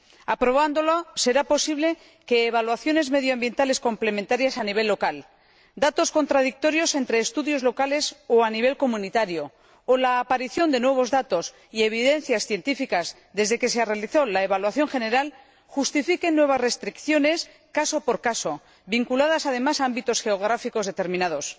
Aprobándolo será posible que evaluaciones medioambientales complementarias a nivel local, datos contradictorios entre estudios locales o a nivel comunitario, o la aparición de nuevos datos y evidencias científicas desde que se realizó la evaluación general justifiquen nuevas restricciones, caso por caso, vinculadas además a ámbitos geográficos determinados.